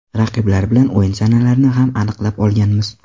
Raqiblar bilan o‘yin sanalarini ham aniqlab olganmiz.